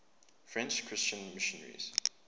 french christian missionaries